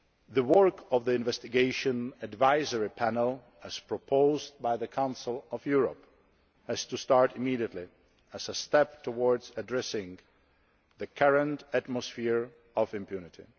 The work of the Investigation Advisory Panel, as proposed by the Council of Europe, has to start immediately as a step towards addressing the current atmosphere of impunity.